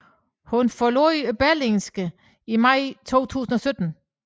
Hun forlod Berlingske i maj 2017